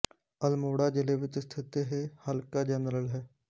ਅਲਮੋੜਾ ਜ਼ਿਲੇ ਵਿੱਚ ਸਥਿਤ ਇਹ ਹਲਕਾ ਜਨਰਲ ਹੈ